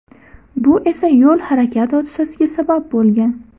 Bu esa yo‘l-harakat hodisasiga sabab bo‘lgan.